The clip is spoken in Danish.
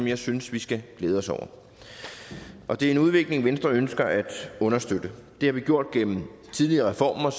jeg synes vi skal glæde os over og det er en udvikling som venstre ønsker at understøtte det har vi gjort gennem tidligere reformer og